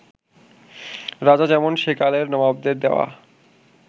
রাজা যেমন সেকালের নবাবদের দেওয়া